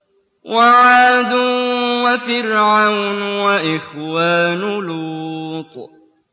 وَعَادٌ وَفِرْعَوْنُ وَإِخْوَانُ لُوطٍ